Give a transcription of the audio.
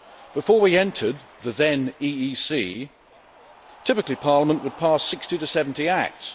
Before we entered the then EEC, typically Parliament would pass 60 to 70 acts.